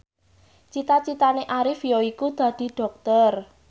cita citane Arif yaiku dadi dokter